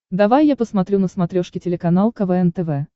давай я посмотрю на смотрешке телеканал квн тв